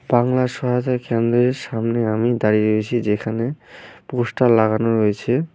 বাংলা সহায়তা কেন্দ্রের সামনে আমি দাঁড়িয়ে রয়েছি যেখানে পোস্টার লাগানো রয়েছে।